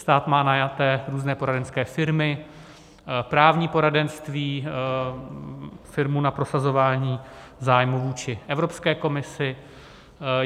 Stát má najaté různé poradenské firmy, právní poradenství, firmu na prosazování zájmů vůči Evropské komisi.